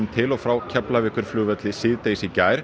til og frá Keflavíkurflugvelli síðdegis í gær